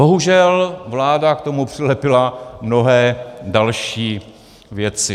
Bohužel vláda k tomu přilepila mnohé další věci.